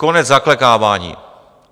Konec zaklekávání.